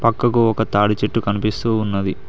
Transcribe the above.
పక్కకు ఒక తాడిచెట్టు కనిపిస్తూ ఉన్నది.